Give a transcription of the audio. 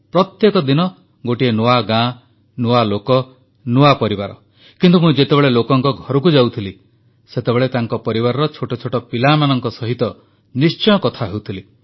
ପ୍ରତ୍ୟେକ ଦିନ ଗୋଟିଏ ନୂଆ ଗାଁ ନୂଆ ଲୋକ ନୂଆ ପରିବାର କିନ୍ତୁ ମୁଁ ଯେତେବେଳେ ଲୋକଙ୍କ ଘରକୁ ଯାଉଥିଲି ସେତେବେଳେ ତାଙ୍କ ପରିବାରର ଛୋଟ ଛୋଟ ପିଲାମାନଙ୍କ ସହିତ ନିଶ୍ଚୟ କଥା ହେଉଥିଲି